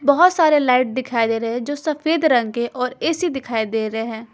बहोत सारे लाइट दिखाई दे रहे हैं जो सफेद रंग के और ए_सी दिखाई दे रहे हैं।